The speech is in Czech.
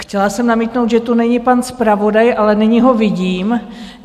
Chtěla jsem namítnout, že tu není pan zpravodaj, ale nyní ho vidím.